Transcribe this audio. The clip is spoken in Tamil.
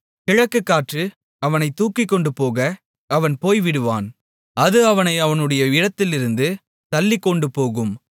கிழக்குக்காற்று அவனைத் தூக்கிக்கொண்டுபோக அவன் போய்விடுவான் அது அவனை அவனுடைய இடத்திலிருந்து தள்ளிக்கொண்டுபோகும்